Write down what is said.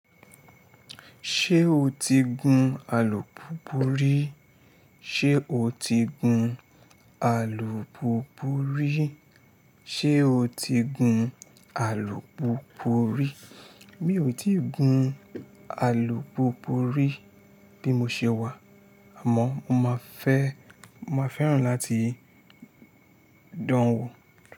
Ṣé o ti gun alùpùpù rí? Ṣé o ti gun alùpùpù rí? Ṣé o ti gun alùpùpù rí? Mi ò ti gun alùpùpù rí bí mo ṣe wà, àmọ́ mo máa fẹ́, mo máa fẹ́ràn láti dán an wo.